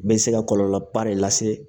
Bɛ se ka kɔlɔlɔba de lase